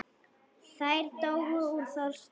Þær dóu úr þorsta.